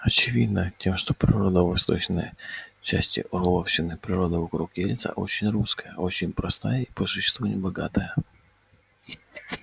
очевидно тем что природа восточной части орловщины природа вокруг ельца очень русская очень простая и по существу небогатая